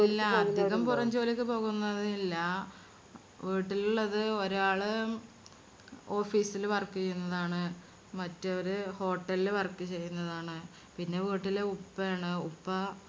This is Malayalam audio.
ഇല്ല അധികം പുറം ജോലിക്ക് പോകുന്നവരില്ല വീട്ടിലുള്ളത് ഒരാൾ ഉം office ല് work ചെയ്യുന്നതാണ്. മറ്റേവര് hotel ല് work ചെയ്യുന്നതാണ്. പിന്നെ വീട്ടില് ഉപ്പ ആണ്. ഉപ്പ